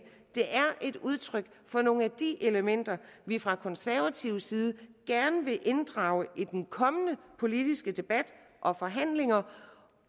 er et udtryk for nogle af de elementer vi fra konservativ side gerne vil inddrage i den kommende politiske debat og forhandlinger